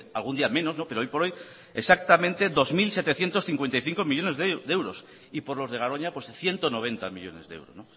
algún día menos pero hoy por hoy exactamente dos mil setecientos cincuenta y cinco millónes de euros y por los de garoña ciento noventa millónes de euros